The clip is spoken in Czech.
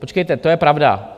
Počkejte, to je pravda.